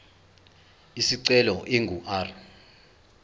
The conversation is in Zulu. isicelo ingu r